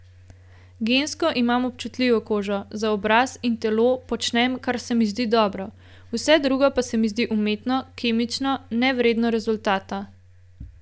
Gensko imam občutljivo kožo, za obraz in telo počnem, kar se mi zdi dobro, vse drugo pa se mi zdi umetno, kemično, nevredno rezultata.